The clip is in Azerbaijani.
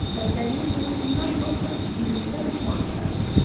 Xəstəliyin qorxusundan doktor hündürdən uçmağa qərar verdi.